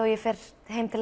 ég fer heim til